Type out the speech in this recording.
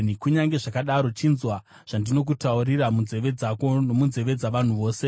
Kunyange zvakadaro, chinzwa zvandinokutaurira munzeve dzako nomunzeve dzavanhu vose: